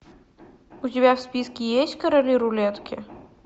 у тебя в списке есть короли рулетки